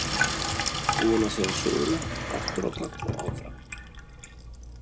Búin að segja söguna aftur á bak og áfram.